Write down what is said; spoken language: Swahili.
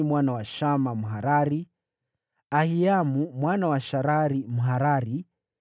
mwana wa Shama, Mharari; Ahiamu mwana wa Sharari, Mharari;